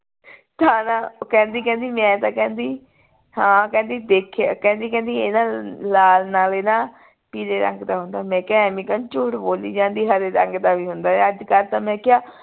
ਤਾਂ ਨਾ ਕਹਿੰਦੀ ਕਹਿੰਦੀ ਮੈਂ ਤਾਂ ਕਹਿੰਦੀ ਹਾਂ ਕਹਿੰਦੀ ਦੇਖੀਏ ਕਹਿੰਦੀ ਕਹਿੰਦੀ ਇਹ ਨਾ ਲਾਲ ਨਾਲੇ ਨਾ ਪੀਲੇ ਰੰਗ ਦਾ ਹੁੰਦੇ ਮੈਂ ਕਿਹਾ ਐਂਵੇ ਤਾਂ ਨਹੀਂ ਝੂਠ ਬੋਲੀ ਜਾਂਦੀ ਹਰੇ ਰੰਗ ਦਾ ਵੀ ਹੁੰਦੇ ਅੱਜਕਲ ਤਾਂ ਮੈਂ ਕਿਹਾ